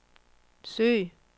søg